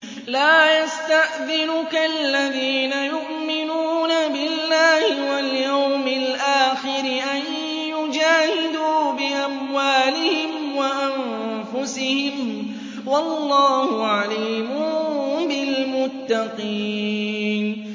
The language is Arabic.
لَا يَسْتَأْذِنُكَ الَّذِينَ يُؤْمِنُونَ بِاللَّهِ وَالْيَوْمِ الْآخِرِ أَن يُجَاهِدُوا بِأَمْوَالِهِمْ وَأَنفُسِهِمْ ۗ وَاللَّهُ عَلِيمٌ بِالْمُتَّقِينَ